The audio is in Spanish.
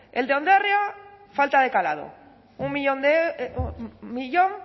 el de ondarroa falta de calado un millón